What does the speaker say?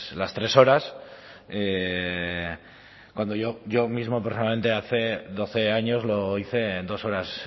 las tres horas cuando yo mismo personalmente hace doce años lo hice en dos horas